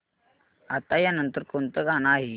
आता या नंतर कोणतं गाणं आहे